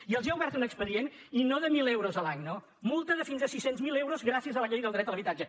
i els ha obert un expedient i no de mil eu·ros l’any no multa de fins a sis cents miler euros gràcies a la llei del dret a l’habitatge